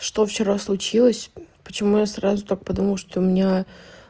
что вчера случилось почему я сразу так подумал что у меня